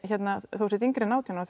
þú sért yngri en átján ára